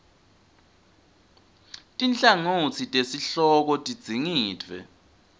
tinhlangotsi tesihloko tidzingidvwe